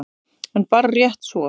En bara rétt svo.